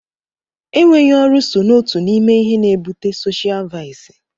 Enweghị ọrụ so n'otu n'ime ihe n'ebute soshial vaịsị.